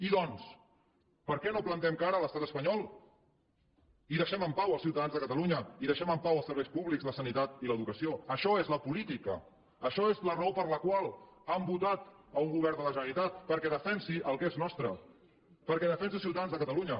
i doncs per què no plantem cara a l’estat espanyol i deixem en pau els ciutadans de catalunya i deixem en pau els serveis públics la sanitat i l’educació això és la política això és la raó per la qual han votat un govern de la generalitat perquè defensi el que és nostre perquè defensi els ciutadans de catalunya